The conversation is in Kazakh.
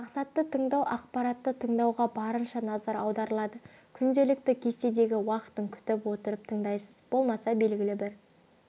мақсатты тыңдау ақпаратты тыңдауға барынша назар аударылады күнделікті кестедегі уақытын күтіп отырып тыңдайсыз болмаса белгілі бір